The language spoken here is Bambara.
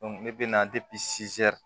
ne bɛ na